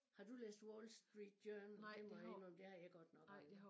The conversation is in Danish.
Har du læst Wall Street Journal det må jeg indrømme det har jeg godt nok aldrig